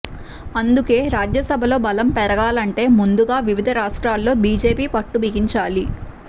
అందుకే రాజ్యసభలో బలం పెరగాలంటే ముందుగా వివిధ రాష్ట్రాల్లో బీజేపీ పట్టు బిగించాలి